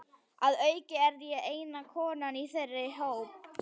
Að auki er ég eina konan í þeirra hópi.